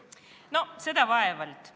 No seda vaevalt!